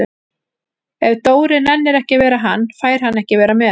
Ef Dóri nennir ekki að vera hann, fær hann ekki að vera með